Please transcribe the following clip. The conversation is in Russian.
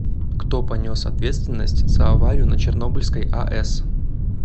кто понес ответственность за аварию на чернобыльской аэс